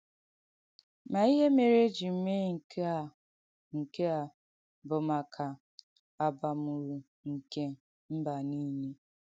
Ma ihè mèrè e jì mee nke à nke à bụ̀ maka àbàm̀ụ̀rụ̀ nke mbà nìle.